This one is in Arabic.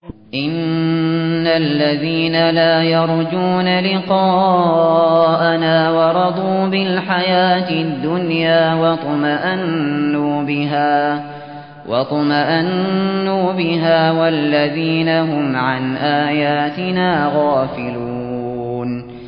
إِنَّ الَّذِينَ لَا يَرْجُونَ لِقَاءَنَا وَرَضُوا بِالْحَيَاةِ الدُّنْيَا وَاطْمَأَنُّوا بِهَا وَالَّذِينَ هُمْ عَنْ آيَاتِنَا غَافِلُونَ